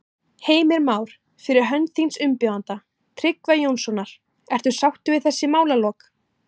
Heimir Már: Fyrir hönd þíns umbjóðanda, Tryggva Jónssonar, ertu sáttur við þessi málalok?